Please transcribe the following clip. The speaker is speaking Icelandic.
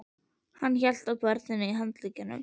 Hann hélt á barninu á handleggnum.